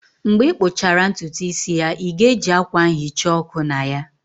Mgbe ị kpụchara ntutu isi ya, ị ga-eji akwa nhicha ọkụ na ya?